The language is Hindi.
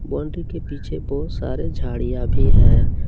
बाउंड्री के पीछे बहुत सारे झाड़ियां भी हैं ।